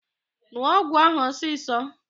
N̄ụọ ọgwụ ahụ ọsịsọ!